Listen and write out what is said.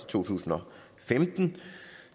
to tusind og femten